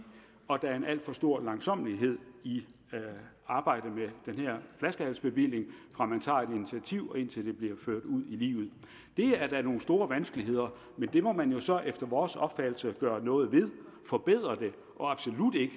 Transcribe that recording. og der er en alt for stor langsommelighed i arbejdet med den her flaskehalsbevilling fra man tager et initiativ og indtil det bliver ført ud i livet det er da nogle store vanskeligheder men det må man jo så efter vores opfattelse gøre noget ved forbedre det og absolut ikke